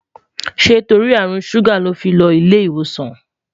ṣé torí àrùn ṣuga ló fí ló ilé ìwòsàn?